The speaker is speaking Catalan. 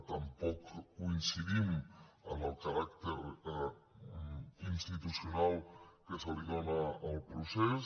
tampoc coincidim amb el caràcter institucional que es dóna al procés